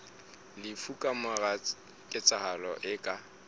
lefu kamora ketsahalo e ka